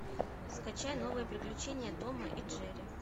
скачай новые приключения тома и джерри